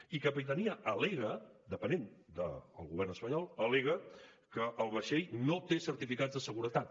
i capitania al·lega depenent del govern espanyol al·lega que el vaixell no té certificats de seguretat